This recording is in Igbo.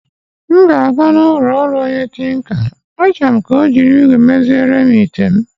M ga-aga n'ụlọ ọrụ onye tinka, achorom ka ọ jirir igwe mezierem item